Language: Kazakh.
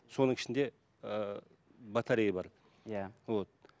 соның ішінде ііі батарея бар иә вот